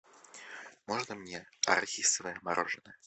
можно мне арахисовое мороженое